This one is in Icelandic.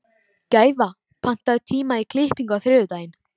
Gæfa, pantaðu tíma í klippingu á þriðjudaginn.